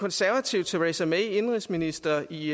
konservative theresa may indenrigsminister i